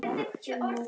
Segir hver?